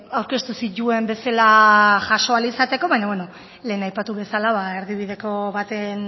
aurkeztu zituen bezala jaso ahal izateko baina beno lehen aipatu bezala erdibideko baten